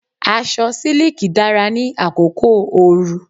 Aṣọ siliki dára ní àkókò òru.